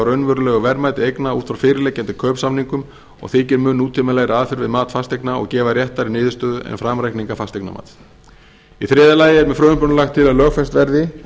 raunverulegu verðmæti eigna út frá fyrirliggjandi kaupsamningum og þykir mun nútímalegri aðferð við mat fasteigna og gefa réttari niðurstöðu en framreikningar fasteignamats í þriðja lagi er með frumvarpinu lagt til að lögfest verði